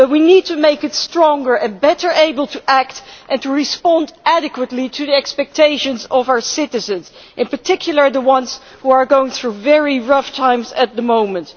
it. We need to make it stronger and better able to act and respond adequately to the expectations of our citizens, in particular the ones who are going through very rough times at the moment.